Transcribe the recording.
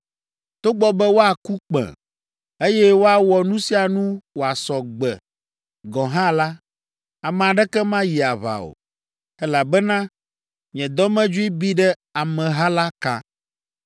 “ ‘Togbɔ be woaku kpẽ, eye woawɔ nu sia nu wòasɔ gbe gɔ̃ hã la, ame aɖeke mayi aʋa o, elabena nye dɔmedzoe bi ɖe ameha la kã.